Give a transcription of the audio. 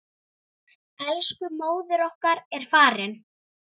Elsku móðir okkar er farin.